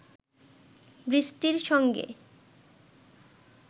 বৃষ্টির সঙ্গে